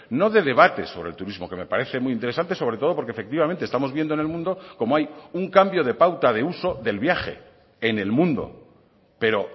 no de debate sobre el turismo que me parece muy interesante sobre todo porque efectivamente estamos viendo en el mundo como hay un cambio de pauta de uso del viaje en el mundo pero